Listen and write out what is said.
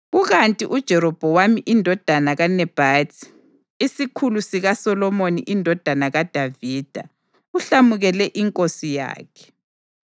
Kukanti uJerobhowamu indodana kaNebhathi, isikhulu sikaSolomoni indodana kaDavida, uhlamukele inkosi yakhe.